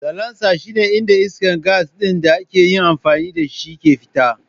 Salancer shine inda iskar gas ɗin da aka yi amfani da shi ke fita.